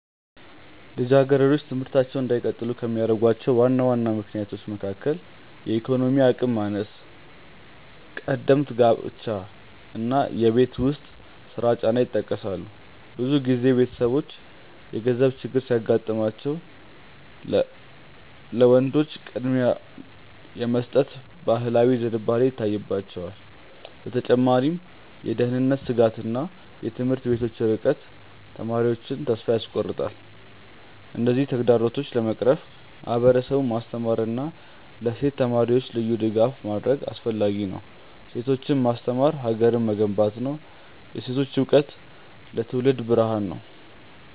ልጃገረዶች ትምህርታቸውን እንዳይቀጥሉ ከሚያደርጉ ዋና ዋና ምክንያቶች መካከል የኢኮኖሚ አቅም ማነስ፣ ቀደምት ጋብቻ እና የቤት ውስጥ ስራ ጫና ይጠቀሳሉ። ብዙ ጊዜ ቤተሰቦች የገንዘብ ችግር ሲያጋጥማቸው ለወንዶች ቅድሚያ የመስጠት ባህላዊ ዝንባሌ ይታይባቸዋል። በተጨማሪም የደህንነት ስጋትና የትምህርት ቤቶች ርቀት ተማሪዎቹን ተስፋ ያስቆርጣል። እነዚህን ተግዳሮቶች ለመቅረፍ ማህበረሰቡን ማስተማርና ለሴት ተማሪዎች ልዩ ድጋፍ ማድረግ አስፈላጊ ነው። ሴቶችን ማስተማር ሀገርን መገንባት ነው። የሴቶች እውቀት ለትውልድ ብርሃን ነው።